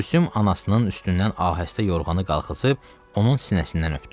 Gülsüm anasının üstündən ahəstə yorğanı qaxısıb, onun sinəsindən öpdü.